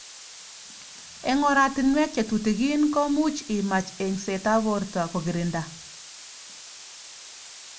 Eng oratunwek chetutikin komuch imach engset ab borto kokirinda.